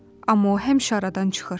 Amma o həmişə aradan çıxır.